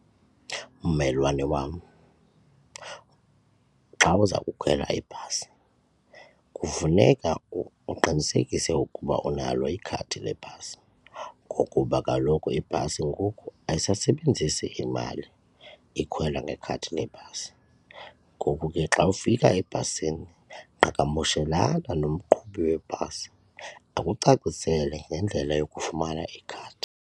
Mmelwane wam, xa uza kukhwela ibhasi kufuneka uqinisekise ukuba unalo ikhadi lebhasi ngokuba kaloku ibhasi ngoku ayisasebenzisi imali ikhwelwa ngekhadi lebhasi. Ngoku ke xa ufika ebhasini qhagamshelana nomqhubi webhasi akucacisele ngendlela yokufumana ikhadi.